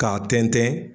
K'a tɛntɛn